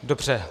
Dobře.